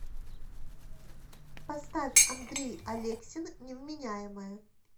поставь андрей алексин невменяемая